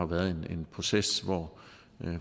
været en proces hvor